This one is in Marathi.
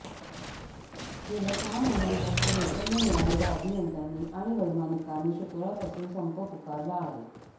गेल्या सहा महिन्यांपासून वेतन न मिळालेल्या अभियंत्यांनी आणि वैमानिकांनी शुक्रवारपासून संप पुकारला आहे